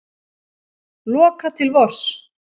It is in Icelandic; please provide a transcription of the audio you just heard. Loka til vors